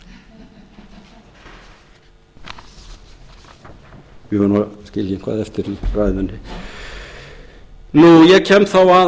ég verð nú að skilja eitthvað eftir í ræðunni ég kem þá að